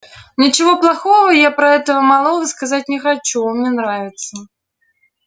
ничего плохого я про этого малого сказать не хочу он мне нравится